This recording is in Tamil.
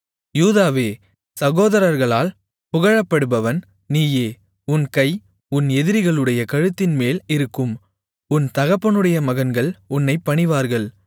யூதாவே சகோதரர்களால் புகழப்படுபவன் நீயே உன் கை உன் எதிரிகளுடைய கழுத்தின்மேல் இருக்கும் உன் தகப்பனுடைய மகன்கள் உன்னைப் பணிவார்கள்